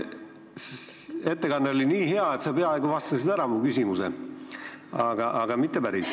Ettekanne oli nii hea, et sa vastasid mu küsimusele peaaegu ära, aga mitte päris.